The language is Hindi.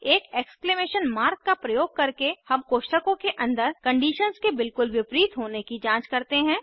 एक एक्सक्लेमेशन मार्क का प्रयोग करके हम कोष्ठकों के अन्दर कंडीशंस के बिल्कुल विपरीत होने की जांच करते हैं